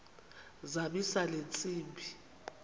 zamisa le ntsimbi